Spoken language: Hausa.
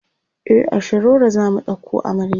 e a shiroro zamu ɗauko amarya